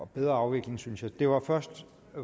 bedre afvikling synes jeg det var først